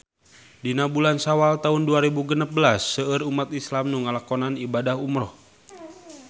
Dina bulan Sawal taun dua rebu genep belas seueur umat islam nu ngalakonan ibadah umrah